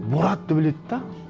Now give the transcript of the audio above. боратты біледі де